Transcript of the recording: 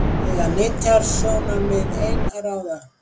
Eiga nytjasjónarmið ein að ráða?